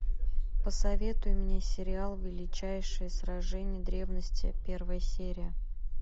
посоветуй мне сериал величайшие сражения древности первая серия